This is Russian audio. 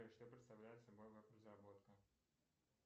что представляет собой веб разработка